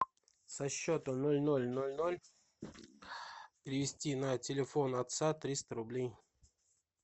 со счета ноль ноль ноль ноль перевести на телефон отца триста рублей